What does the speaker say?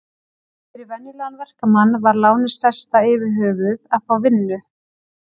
En fyrir venjulegan verkamann var lánið stærsta yfirhöfuð að fá vinnu.